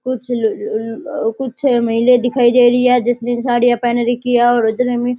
कुछ ल ल ओ कुछ महिला दिखाई दे रही है जिसने साडिया पहन रखी है और उधर में।